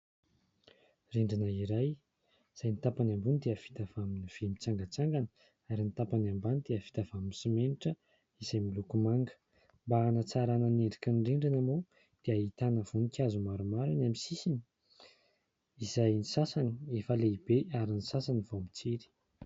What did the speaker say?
Rindrina iray izay ny tapany ambony dia vita avy amin'ny vy mitsangatsangana ary ny tapany ambany dia vita avy amin'ny simenitra izay miloko manga, mba hanatsarana ny endriky ny rindrina moa dia ahitana voninkazo maromaro eny amin'ny sisiny izay ny sasany efa lehibe ary ny sasany vao mitsiry.